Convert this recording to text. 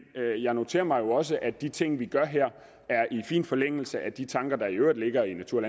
jeg noterer mig jo også at de ting vi gør her er i fin forlængelse af de tanker der i øvrigt ligger i natur